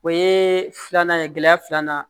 O ye filanan ye gɛlɛya filanan